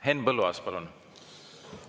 Henn Põlluaas, palun!